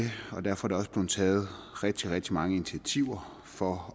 derfor er der også blevet taget rigtig rigtig mange initiativer for